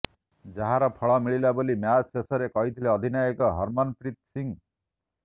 ଯାହାର ଫଳ ମିଳିଲା ବୋଲି ମ୍ୟାଚ୍ ଶେଷରେ କହିଥିଲେ ଅଧିନାୟକ ହର୍ମନ୍ପ୍ରୀତ୍ ସିଂହ